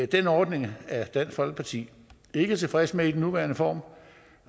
den ordning er dansk folkeparti ikke tilfreds med i den nuværende form